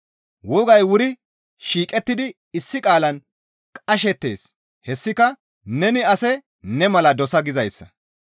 Wogay wuri shiiqettidi issi qaalan qashettees; hessika, «Neni ase ne mala dosa!» gizayssa.